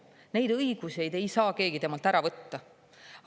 Neid õigusi ei saa keegi temalt ära võtta.